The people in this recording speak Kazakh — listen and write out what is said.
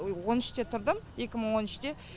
он үште тұрдым екі мың он үште